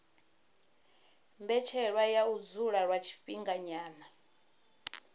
mbetshelwa ya u dzula lwa tshifhinganyana